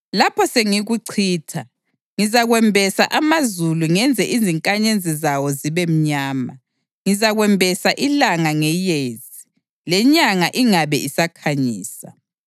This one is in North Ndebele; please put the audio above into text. Lapho sengikucitsha, ngizakwembesa amazulu ngenze izinkanyezi zawo zibe mnyama; ngizakwembesa ilanga ngeyezi, lenyanga ingabe isakhanyisa.